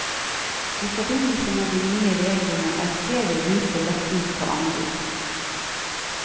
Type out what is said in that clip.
I forbindelse med de nye reglene er flere ruter lagt ut på anbud.